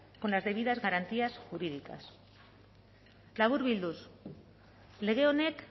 con las debidas garantías jurídicas laburbilduz lege honek